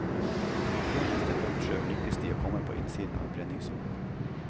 Før neste brottsjø lykkes de å komme på innsiden av brenningssonen.